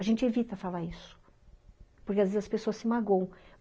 A gente evita falar isso, porque às vezes as pessoas se magoam.